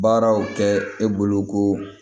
Baaraw kɛ e bolo ko